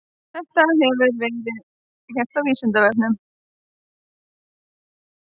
Þetta hefur ekki verið gert á Vísindavefnum.